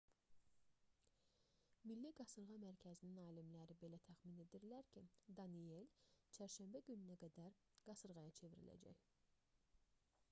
milli qasırğa mərkəzinin alimləri belə təxmin edirlər ki danielle çərşənbə gününə qədər qasırğaya çevriləcək